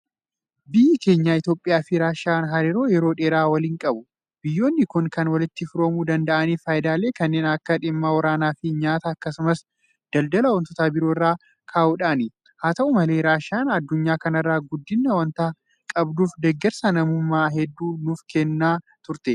Biyyi keenya Itoophiyaafi Raashiyaan hariiroo yeroo dheeraa waliin qabu. Biyyoonni kun kan walitti firoomuu danda'aniif faayidaalee kanneen akka dhimma waraanaafi nyaataa akkasumas daldala waantota biroo irraa ka'uudhaani. Haata'u malee Raashiyaan addynyaa kana irraa guddina waanta qabduuf deeggarsa namummaa hedduu nuufkennaa turte.